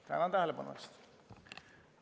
Tänan tähelepanu eest!